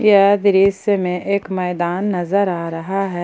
यह दृश्य में एक मैदान नजर आ रहा है।